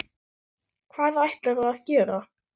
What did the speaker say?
Hvað ætlarðu að gera?